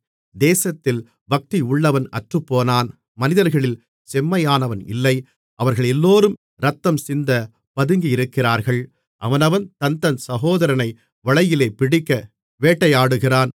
தேசத்தில் பக்தியுள்ளவன் அற்றுப்போனான் மனிதர்களில் செம்மையானவன் இல்லை அவர்களெல்லோரும் இரத்தம் சிந்தப் பதுங்கியிருக்கிறார்கள் அவனவன் தன்தன் சகோதரனை வலையிலே பிடிக்க வேட்டையாடுகிறான்